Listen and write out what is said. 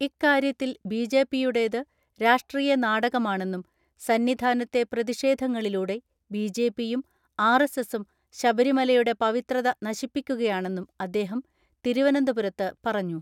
ഇക്കാര്യ ത്തിൽ ബി.ജെ.പി യുടേത് രാഷ്ട്രീയ നാടകമാണെന്നും സന്നിധാ നത്തെ പ്രതിഷേധങ്ങളിലൂടെ ബി.ജെ.പിയും ആർ.എസ്.എസും ശബരിമലയുടെ പവിത്രത നശിപ്പിക്കുകയാണെന്നും അദ്ദേഹം തിരുവനന്തപുരത്ത് പറഞ്ഞു.